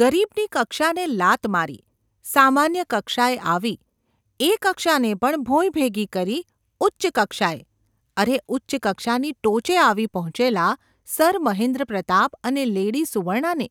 ગરીબની કક્ષાને લાત મારી, સામાન્ય કક્ષાએ આવી, એ કક્ષાને પણ ભોંયભેગી કરી ઉચ્ચ કક્ષાએ – અરે ઉચ્ચ કક્ષાની ટોચે આવી પહોંચેલા સર મહેન્દ્રપ્રતાપ અને લેડી સુવર્ણાને